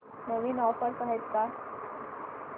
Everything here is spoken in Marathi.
नवीन ऑफर्स आहेत का